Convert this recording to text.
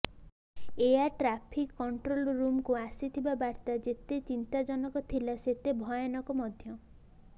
air traffic control ରୁମକୁ ଆସିଥିବା ବାର୍ତା ଯେତେ ଚିନ୍ତାଜନକ ଥିଲା ସେତେ ଭୟାନକ ମଧ୍ୟ